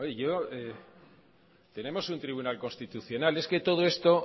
yo tenemos un tribunal constitucional es que todo esto